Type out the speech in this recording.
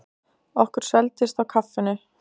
Okkur svelgdist á kaffinu.